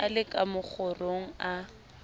a le ka mokgorong a